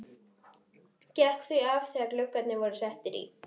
Gekk því af þegar gluggarnir eru settir í.